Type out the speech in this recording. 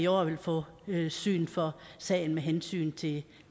året vil få syn for sagen med hensyn til